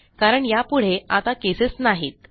कारण यापुढे आता केसेस नाहीत